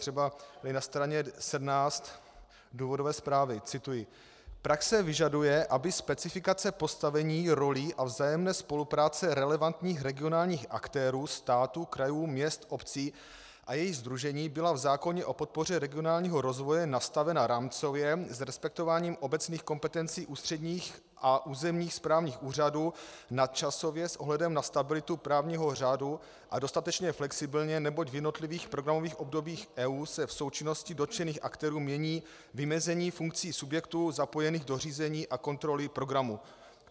Třeba na straně 17 důvodové zprávy - cituji: "Praxe vyžaduje, aby specifikace postavení rolí a vzájemné spolupráce relevantních regionálních aktérů, států, krajů, měst, obcí a jejich sdružení byla v zákoně o podpoře regionálního rozvoje nastavena rámcově s respektováním obecných kompetencí ústředních a územních správních úřadů nadčasově s ohledem na stabilitu právního řádu a dostatečně flexibilně, neboť v jednotlivých programových obdobích EU se v součinnosti dotčených aktérů mění vymezení funkcí subjektů zapojených do řízení a kontroly programu."